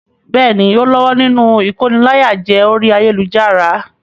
Bẹ́ẹ̀ni, ó lọ́wọ́ nínú ìkóniláyàjẹ orí ayélujára.